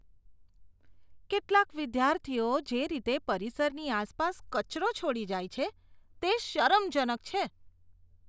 કેટલાક વિદ્યાર્થીઓ જે રીતે પરિસરની આસપાસ કચરો છોડી જાય છે, તે શરમજનક છે.